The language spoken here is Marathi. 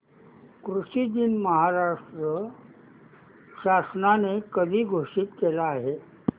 कृषि दिन महाराष्ट्र शासनाने कधी घोषित केला आहे